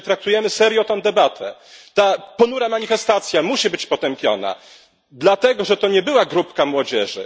Jeżeli traktujemy serio tę debatę, ta ponura manifestacja musi być potępiona, dlatego że to nie była grupka młodzieży.